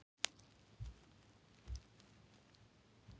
Erlend ríki leyfðu ekki innflutning hrogna og seiða án þeirra.